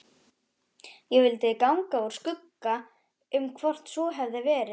Ég vildi ganga úr skugga um hvort svo hefði verið.